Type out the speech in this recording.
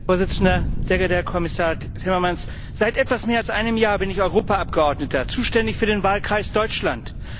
Herr Präsident, sehr geehrter Herr Kommissar Timmermans! Seit etwas mehr als einem Jahr bin ich Europaabgeordneter, zuständig für den Wahlkreis Deutschland.